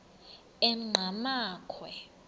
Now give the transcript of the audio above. enqgamakhwe